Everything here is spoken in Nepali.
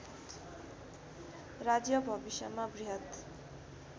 राज्य भविष्यमा बृहत्